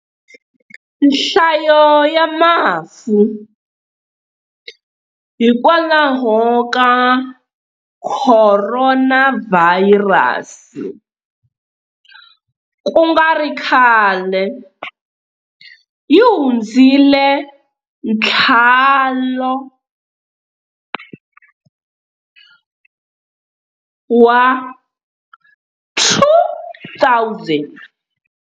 Nhlayo ya mafu hikwalaho ka khoronavhayirasi ku nga ri khale yi hundzile nthalo wa 2,000.